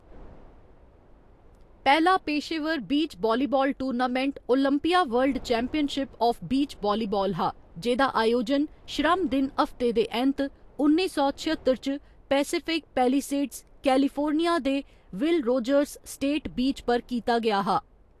पैह्‌‌ला पेशेवर beach volleyball tournament Olympia World Championship of Beach Volleyball हा, जेह्‌दा अयोजन श्रम दिन हफ्ते दे ऐंत, उन्नी सौ छअत्तर च पैसिफिक पैलिसेड्स, कैलिफोर्निया दे विल रोजर्स स्टेट बीच पर कीता गेआ हा।